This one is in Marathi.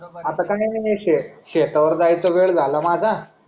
आता का नाही शेत शेता वर जायचं वेड झाला माझा